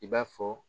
I b'a fɔ